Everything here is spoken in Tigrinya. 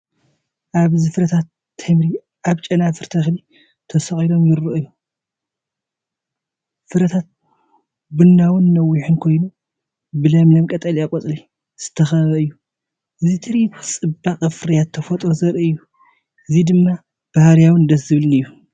ኣብዚ ፍረታት ተምሪ ኣብ ጨናፍር ተክሊ ተሰቒሎም ይረኣዩ። ፍረታት ቡናዊን ነዊሕን ኮይኑ፡ ብለምለም ቀጠልያ ቆጽሊ ዝተኸበበ እዩ። እዚ ትርኢት ጽባቐን ፍርያምን ተፈጥሮ ዘርኢ እዩ። እዚ ድማ ባህርያዊን ደስ ዘብልን እዩ።